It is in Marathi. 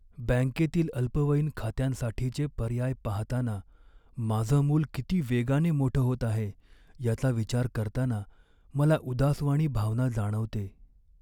बँकेतील अल्पवयीन खात्यांसाठीचे पर्याय पाहताना माझं मूल किती वेगाने मोठं होत आहे याचा विचार करताना मला उदासवाणी भावना जाणवते.